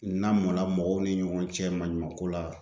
N lamɔla mɔgɔw ni ɲɔgɔn cɛ maɲumanko la